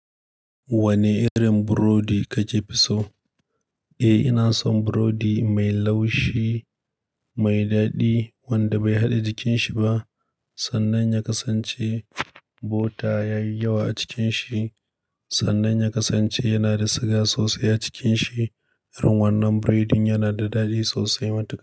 Wane irin burodi kake fi so? Eh, ina son burodi mai laushi, mai daɗi wanda bai haɗe jikin shiba sannan ya kasance bota ya yi yawa a cikin shi sannan ya kasance yana da siga sosai a cikin shi. Irin wannan burodin yana da daɗi sosai matuƙa.